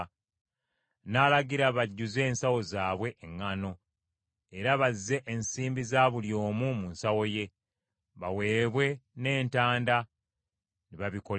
N’alagira bajjuze ensawo zaabwe eŋŋaano, era bazze ensimbi za buli omu mu nsawo ye, baweebwe n’entanda; ne bibakolerwa.